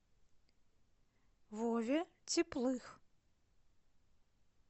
вове теплых